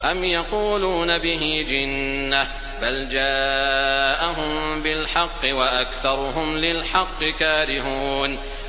أَمْ يَقُولُونَ بِهِ جِنَّةٌ ۚ بَلْ جَاءَهُم بِالْحَقِّ وَأَكْثَرُهُمْ لِلْحَقِّ كَارِهُونَ